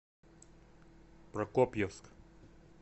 прокопьевск